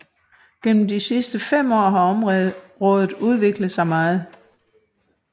Gennem de sidste fem år har området udviklet sig meget